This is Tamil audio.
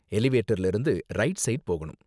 எலிவேட்டர்ல இருந்து ரைட் ஸைட் போணும்